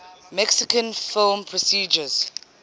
mexican film producers